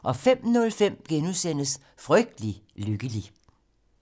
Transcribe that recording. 05:05: Frygtelig lykkelig *